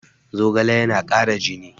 Zogale yana kara jini